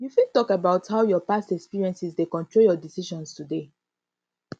you fit talk about how your past experiences dey control your decision today